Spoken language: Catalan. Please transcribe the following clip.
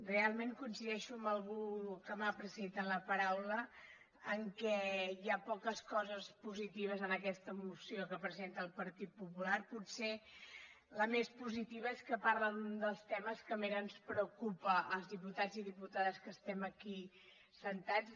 real ment coincideixo amb algú que m’ha precedit en la paraula que hi ha poques coses positives en aquesta moció que presenta el partit popular potser la més positiva és que parla d’un dels temes que més ens preocupa als diputats i diputades que estem aquí asseguts